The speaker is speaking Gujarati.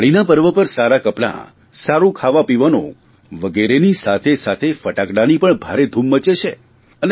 દિવાળીના પર્વ પર સારાં કપડાં સારૂં ખાવાપીવાનું વગેરેની સાથેસાથે ફટાકડાની પણ ભારે ધૂમ મચે છે